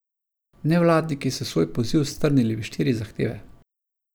Nevladniki so svoj poziv strnili v štiri zahteve.